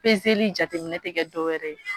jateminɛ tɛ kɛ dɔwɛrɛ ye